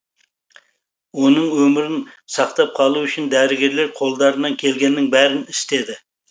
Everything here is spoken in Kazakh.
оның өмірін сақтап қалу үшін дәрігерлер қолдарынан келгеннің бәрін істеді